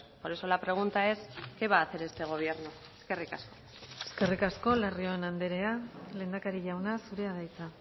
por eso la pregunta es qué va a hacer este gobierno eskerrik asko eskerrik asko larrion andrea lehendakari jauna zurea da hitza